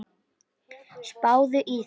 Spáðu í það.